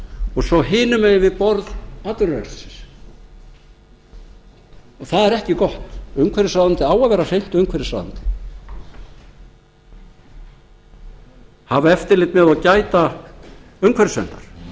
og svo hinum megin við borð atvinnuvegarins það er ekki gott umhverfisráðuneytið á að vera hreint umhverfisráðuneyti hafa eftirlit með og gæta umhverfisverndar